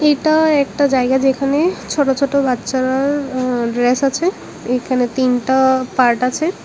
এটা একটা জায়গা যেখানে ছোট ছোট বাচ্চারার ড্রেস আছে এখানে তিনটা পার্ট আছে।